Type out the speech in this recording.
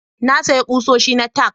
Na sayi kusoshi na tack